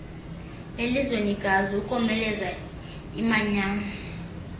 elizwekazi ukomeleza imanyano